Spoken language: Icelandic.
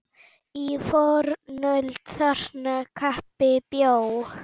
Í fornöld þarna kappi bjó.